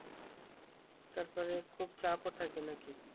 তারপরে খুব চাপ ও থাকে নাকি